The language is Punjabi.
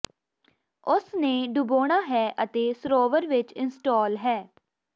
ਉਸ ਨੇ ਡੁਬੋਣਾ ਹੈ ਅਤੇ ਸਰੋਵਰ ਵਿੱਚ ਇੰਸਟਾਲ ਹੈ